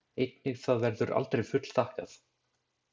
Einnig það verður aldrei fullþakkað.